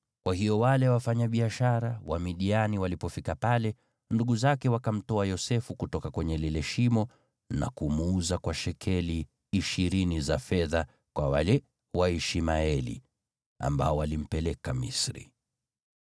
Kwa hiyo wale wafanyabiashara Wamidiani walipofika pale, ndugu zake wakamtoa Yosefu kutoka kwenye lile shimo, na kumuuza kwa shekeli ishirini za fedha kwa wale Waishmaeli, ambao walimpeleka Misri.